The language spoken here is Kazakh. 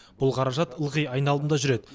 бұл қаражат ылғи айналымда жүреді